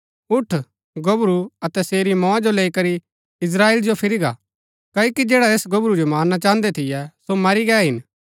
उठ गोबरू अतै सेरी मौआ जो लैई करी इस्त्राएल जो फिरी गा क्ओकि जैडा ऐस गोबरू जो मारना चाहन्दै थियै सो मरी गै हिन